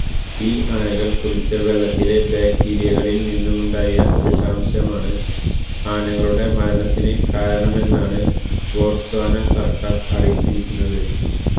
ഈ ആനകള് കുടിച്ച വെള്ളത്തിലെ ബാക്ടീരിയകളില് നിന്നുമുണ്ടായ വിഷാംശമാണ് ആനകളുടെ മരണ കാരണമെന്നാണ് ബൊട്സ്വാന സര്ക്കാര് അറിയിച്ചിരിക്കുന്നത്